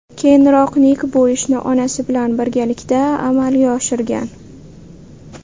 Keyinroq Nik bu ishni onasi bilan birgalikda amalga oshirgan.